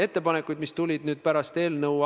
Aitäh, austatud istungi juhataja!